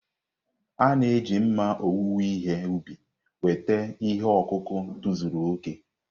A na-eji mma owuwe ihe ubi weta ihe ọkụkụ tozuru okè.